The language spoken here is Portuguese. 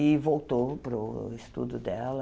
E voltou para o estudo dela.